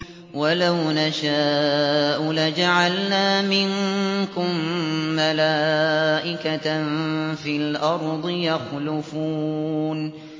وَلَوْ نَشَاءُ لَجَعَلْنَا مِنكُم مَّلَائِكَةً فِي الْأَرْضِ يَخْلُفُونَ